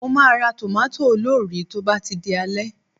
Mo máa ra tòmátò olórìí tó bá ti di alẹ́